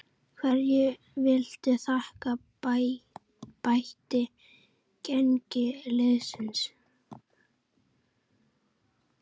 Hverju viltu þakka bætt gengi liðsins?